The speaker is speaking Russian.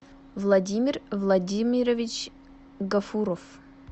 владимир владимирович гафуров